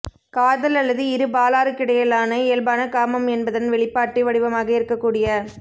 காதல் அல்லது இரு பாலாருக்கிடையிலான இயல்பான காமம் என்பதன் வெளிப்பாட்டு வடிவமாக இருக்கக் கூடிய